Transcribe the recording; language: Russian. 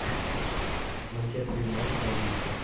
манчестер юнайтед на выезде